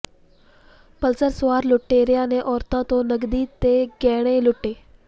Pulsar ਸਵਾਰ ਲੁਟੇਰਿਆਂ ਨੇ ਔਰਤ ਤੋਂ ਨਕਦੀ ਤੇ ਗਹਿਣੇ ਲੁੱਟੇ